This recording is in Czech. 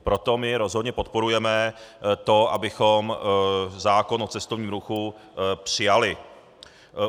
Proto my rozhodně podporujeme to, abychom zákon o cestovním ruchu přijali.